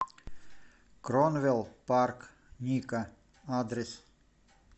кронвел парк ника адрес